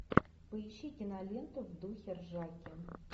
поищи киноленту в духе ржаки